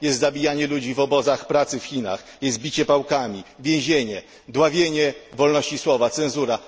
Jest zabijanie ludzi w obozach pracy w Chinach, jest bicie pałkami, więzienie, dławienie wolności słowa, cenzura.